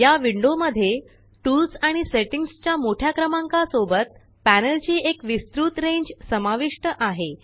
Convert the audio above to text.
या विण्डो मध्ये टूल्स आणि सेटिंग्स च्या मोठ्या क्रमांका सोबत पॅनल ची एक विस्तृत रेंज समाविष्ट आहे